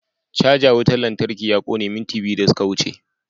Caja wutar lantarki ta kone minti biyu da suka wuce.